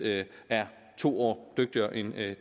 er to år dygtigere end